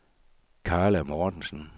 Karla Mortensen